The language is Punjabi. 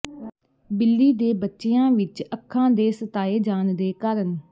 ਬਿੱਲੀ ਦੇ ਬੱਚਿਆਂ ਵਿੱਚ ਅੱਖਾਂ ਦੇ ਸਤਾਏ ਜਾਣ ਦੇ ਕਾਰਨ